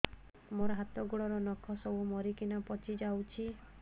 ମୋ ହାତ ଗୋଡର ନଖ ସବୁ ମରିକିନା ପଚି ଯାଉଛି